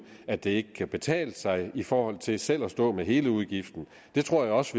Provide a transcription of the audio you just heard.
at det ikke kan betale sig i forhold til selv at stå med hele udgiften jeg tror også